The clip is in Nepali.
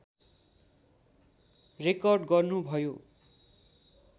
रेकर्ड गर्नुभयो